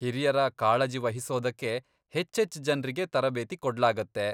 ಹಿರಿಯರ ಕಾಳಜಿ ವಹಿಸೋದಕ್ಕೆ ಹೆಚ್ಚೆಚ್ಚ್ ಜನ್ರಿಗೆ ತರಬೇತಿ ಕೊಡ್ಲಾಗತ್ತೆ.